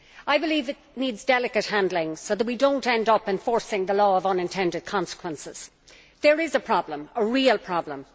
I believe it needs delicate handling so that we do not end up enforcing the law of unintended consequences. There is a problem, a real problem.